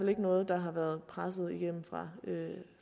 ikke noget der har været presset igennem fra